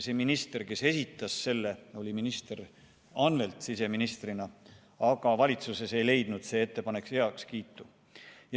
Selle ettepaneku esitas minister Andres Anvelt siseministrina, aga valitsuses ei leidnud see ettepanek heakskiitu.